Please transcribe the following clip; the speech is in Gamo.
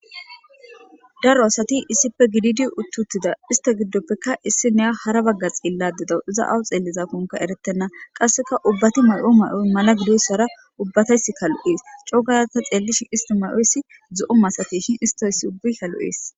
Daro asati issife gididi uttutida ista giddoppekka issi neya hara bagga xiilla dedawu iza awu xeellizakonka eretenna qasseka ubbati may7o may7oy mala gidoyssara ubbatays kalu7ees cookayata xeellishi isti may7oyssi zu7o masateshin istoyss ubbi kalu7ees.